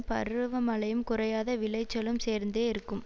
பருவமழையும் குறையாத விளைச்சலும் சேர்ந்தே இருக்கும்